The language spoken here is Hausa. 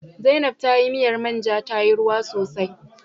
Zainaib tayi miyar manja tayi ruwa sosai